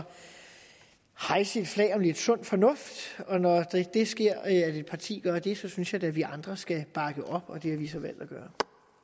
hejse flaget for lidt sund fornuft og når det sker at et parti gør det så synes jeg da at vi andre skal bakke op og det har vi så valgt at gøre